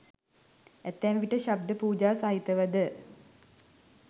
ඇතැම් විට ශබ්ද පූජා සහිතව ද